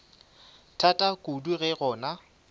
thata kudu ge go na